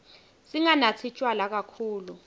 singanatsi tjwala kakhulu